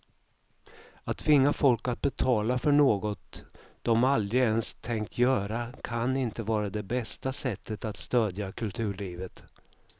Att tvinga folk att betala för något de aldrig ens tänkt göra kan inte vara det bästa sättet att stödja kulturlivet.